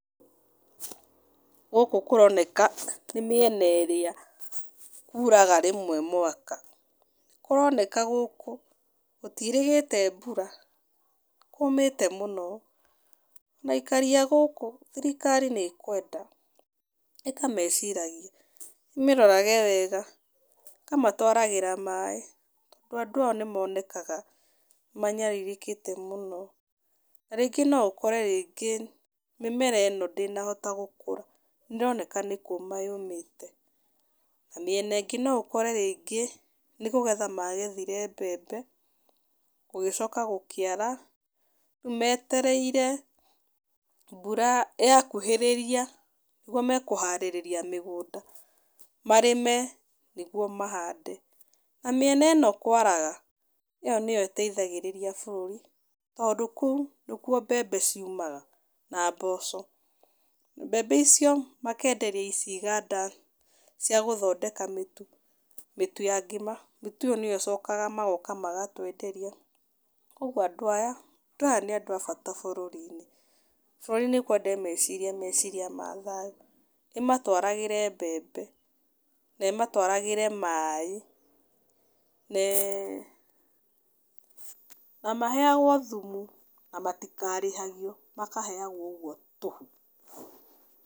Gũkũ kũroneka nĩ mĩena ĩrĩa kuraga rĩmwe mwaka, kũroneka gũkũ gũtiĩrĩgĩte mbura, nĩ kũmĩte mũno, na aikari a gũkũ, thirikari nĩ ĩkwenda ĩkameciragia, ĩmĩrorage wega ĩkamatwaragĩra maĩ, tondũ andũ aya nĩ monekaga, nĩ manyarirĩkĩte mũno, na rĩngĩ no ũkore rĩngĩ, mĩmera ĩno ndĩnahota gũkũra, nĩ ĩroneka nĩ kũma yũmĩte, na mĩena ĩngĩ no ũkore rĩngĩ, nĩ kũgetha magethire mbembe, gũgĩcoka gũkĩara, rĩu metereire mbura yakuhĩrĩria nĩguo mekũharĩrĩria mĩgũnda, marĩme, nĩguo mahande, na mĩena ĩno kwaraga, ĩyo nĩyo ĩteithagirĩria bũrũri, tondũ kũu nĩkuo mbembe ciumaga, na mboco, mbembe icio makenderia ici iganda cia gũthondeka mĩtu, mĩtu ya ngima, mĩtu ĩyo nĩyo icokaga magoka magatwenderia, kwoguo andũ aya, andũ aya nĩ andũ a bata bũrũri-inĩ, bũrũri nĩ ĩkwenda ĩmecirie meciria mathayu, ĩmatwaragĩre mbembe, na ĩmatwaragĩre maĩ, ne na maheyagwo thumu, na matikarĩhagio makaheyagwo ũguo tũhũ.